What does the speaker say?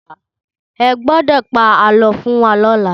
Ẹ gbọ́dọ̀ pa àlọ́ fún wa lọ́la!